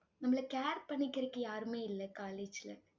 நம்மள care பண்ணிக்கிறதுக்கு யாருமே இல்ல college ல